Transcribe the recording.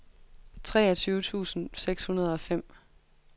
treogtyve tusind seks hundrede og fem